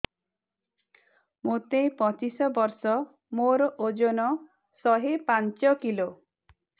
ମୋତେ ପଚିଶି ବର୍ଷ ମୋର ଓଜନ ଶହେ ପାଞ୍ଚ କିଲୋ